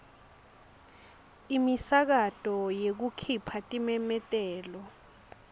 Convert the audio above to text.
imisakato yekukhipha timemetelo